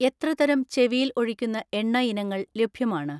എത്ര തരം ചെവിയിൽ ഒഴിക്കുന്ന എണ്ണ ഇനങ്ങൾ ലഭ്യമാണ്?